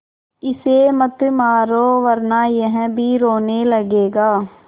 इसे मत मारो वरना यह भी रोने लगेगा